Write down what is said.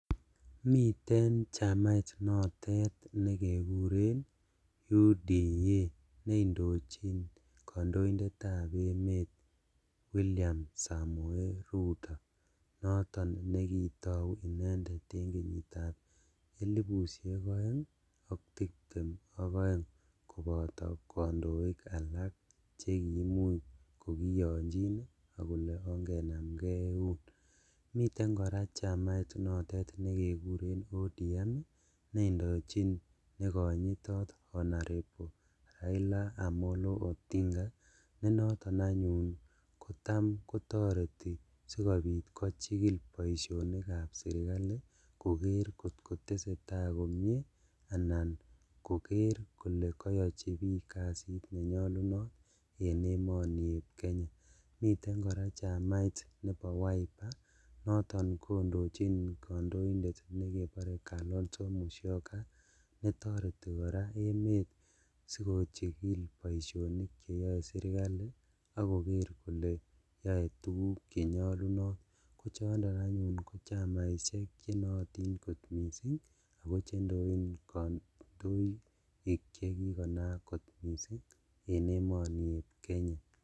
Miten chamait notet ne kekuren UDA ne indochin kandoindetab emet, William Samoe Rutto, noton nekito indendet en kenyitab 2022 koboto kandoik alak che kiimuch kogiyonjin ak kole ongenamnge eun. Miten kora chamait notet nekekuren ODM ne ondochin nekonyitot Hon Raila Amollo Odinga ne noton anyun kotam kotoreti sigopit kochigil boisionikab sergali koker ngotkoteseta komie anan koker kole kayochi biik kasit nenyalunot en emonieb Kenya. Miten kora chamait nebo WIPER, noton kondochin kandoindet nekebore Kalonzo Musyoka netoreti kora emet sikochigil boisionik cheyoe sergali ak koger kole yoe tuguk che nyalunot. Ko chondok anyun ko chamaisiek che nootin kot mising ago chendoin kandoik che kikonayak kot mising en emonieb Kenya.